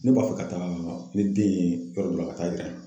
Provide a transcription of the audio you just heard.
Ne b'a fɛ ka taa ni den ye yɔrɔ dɔ la ka taa yira